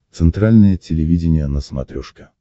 центральное телевидение на смотрешке